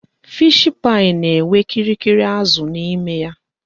Fishi pai na enwe kirikiri azụ n'ime ya